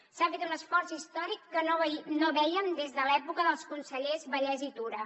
s’ha fet un esforç històric que no vèiem des de l’època dels consellers vallès i tura